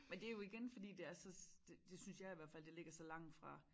Men det jo igen fordi det er så det det synes jeg i hvert fald det ligger så langt fra